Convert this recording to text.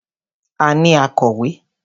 A ní akọ̀wé.